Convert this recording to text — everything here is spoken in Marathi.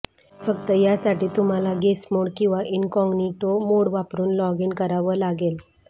फक्त यासाठी तुम्हाला गेस्ट मोड किंवा इनकॉग्निटो मोड वापरुन लॉग इन करावं लागेल